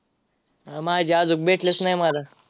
अह माझी अजून भेटलीच नाही मला.